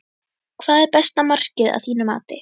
Hvað er besta markið að þínu mati?